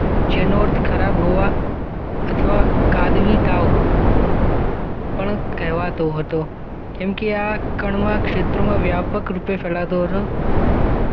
જે નોર્થ ખરાબ હવા અથવા કાદવી તાવ પંણ કેહવાતો હતો કયું કે આ કેમ કે આ ક્ષેત્રમાં વ્યાપક રૂપે ફેલાતુ હતુ